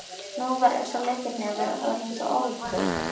Nú var eins og Leiknir væri orðinn sá áhyggjufulli.